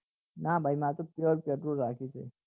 નાં ભાઈ માર તો pure petrol રાખ્યું છે